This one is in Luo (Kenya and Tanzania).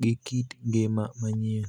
gi kit ngima manyien.